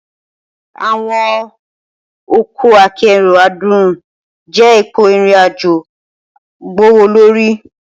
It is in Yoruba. Awọn ọkọ akero adun jẹ ipo irin-ajo gbowolori.